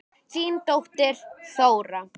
Þín dóttir, Þóra.